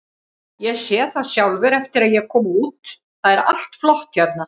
Ég sé það sjálfur eftir að ég kom út, það er allt flott hérna.